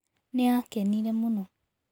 Nĩ aakenire mũno.